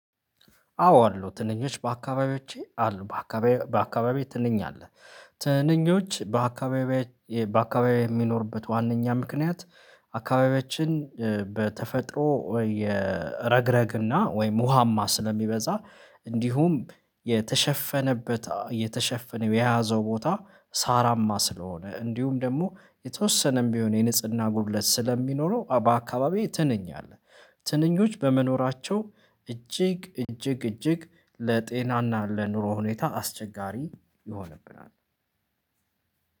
አዎ አሉ ትንኞች በአካባቢዎቼ አሉ በአካባቢ በአካባቢየ ትንኝ አለ፤ ትንኞች በአካባቢየች በአካባቢያየ የሚኖርበት ዋናኛ ምክንያት አካባቢያችን በተፈጥሮ የረግረግና ወይም ሙሃማ ስለሚበዛ እንዲሁም የተሸፈነበት የተሸፈነ የያዘው ቦታ ሳራማ ስለሆነ እንዲሁም ደግሞ የተወሰነም ቢሆን የንጽህና ጉድለት ስለሚኖረው በአካባቢዬ ትንኝ አለ። ትንኞች በመኖራቸው እጅግ እጅግ እጅግ ለጤናና ለኑሮ ሁኔታ አስቸጋሪ ይሆንብናል፤